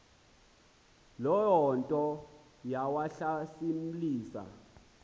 loo nto yawahlasimlisa